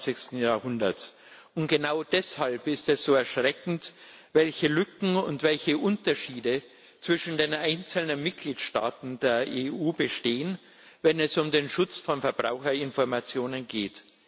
21. Jahrhunderts, und genau deshalb ist es so erschreckend, welche Lücken und welche Unterschiede zwischen den einzelnen Mitgliedstaaten der EU bestehen, wenn es um den Schutz von Verbraucherinformationen geht.